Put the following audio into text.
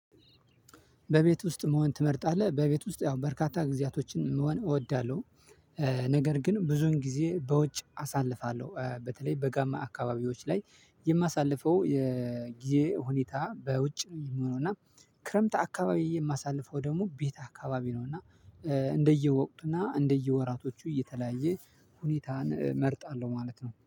"በቤት ውስጥ መሆን ትመርጣለህ?" በቤት ውስጥ ያው በርካታ ጊዜያትን መሆን እወዳለሁ፤ ነገር ግን ብዙ ጊዜ በውጭ አሳልፋለሁ፤ በተለይ በጋማ አካባቢዎች ላይ የማሳልፈው የጊዜ ሁኔታ በውጭ ነው የሚሆነው እና ክረምት አካባቢ የማሳልፈው ደግሞ ቤት አካባቢ ነው እና እንደየወቅቱና እንደየወራቱ እየተለየ ሁኔታን እመርጣለሁ ማለት ነው።